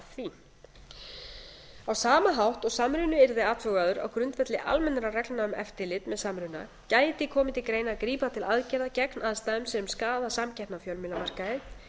því á sama hátt og samruni yrði athugaður á grundvelli almennra reglna um eftirlit með samruna gæti komið til greina að grípa til aðgerða gegn aðstæðum sem skaða samkeppni á fjölmiðlamarkaði